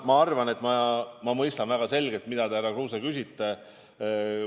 Ma arvan, et ma mõistan väga hästi, mida te, härra Kruuse, küsisite.